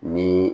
Ni